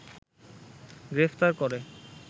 গ্রেফতার করে